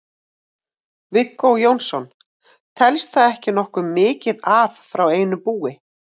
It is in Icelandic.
Viggó Jónsson: Telst það ekki nokkuð mikið af frá einu búi?